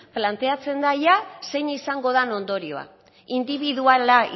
planteatzen da zein izango den ondorioa indibiduala